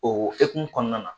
O hokumu kɔnɔna na